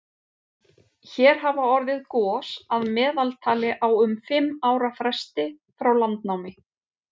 hér hafa orðið gos að meðaltali á um fimm ára fresti frá landnámi